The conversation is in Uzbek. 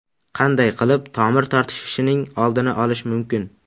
Qanday qilib tomir tortishishining oldini olish mumkin?